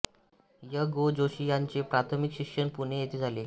य गो जोशी यांचे प्राथमिक शिक्षण पुणे येथे झाले